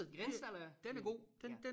Grindsted er Billund ja